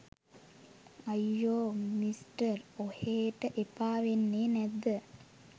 අයියෝ මිස්ටර් ඔහේට එපා වෙන්නේ නැද්ද